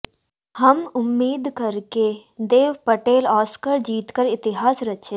हम उम्मीद करके देव पटेल ऑस्कर जीतकर इतिहास रचें